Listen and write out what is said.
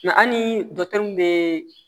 Nka hali dɔkitɛriw bɛ